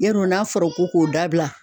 Yarɔ n'a fɔra ko k'o dabila